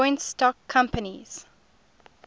joint stock companies